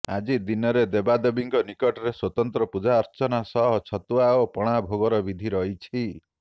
ଆଜିର ଦିନରେ ଦେବାଦେବୀଙ୍କ ନିକଟରେ ସ୍ୱତନ୍ତ୍ର ପୂଜାର୍ଚ୍ଚାନା ସହ ଛତୁଆ ଓ ପଣା ଭୋଗର ବିଧି ରହିଛି